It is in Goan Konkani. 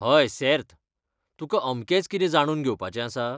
हय, सेर्त. तुकां अमकेंच कितें जाणून घेवपाचें आसा?